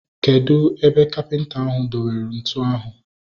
Kedụ ebe kapịnta ahu do were ntụ ahu?